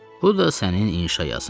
Bu da sənin inşa yazın.